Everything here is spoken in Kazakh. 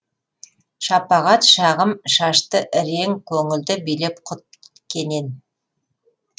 шапағат шағым шашты ірең көңілді билеп құт кенен